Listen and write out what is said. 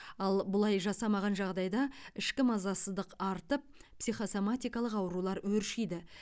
ал бұлай жасамаған жағдайда ішкі мазасыздық артып психосоматикалық аурулар өршиді